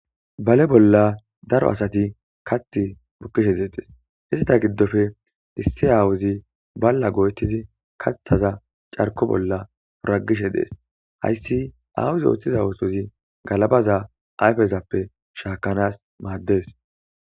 bale bolla daro asati kath bukkishe detees ista giddofe issi aawuzi balla go7ettidi kathaza carko bolla uragishe dees hayssi aawuzi ooththiza ootozi galabaza ayfezappe shaakanaas maaddees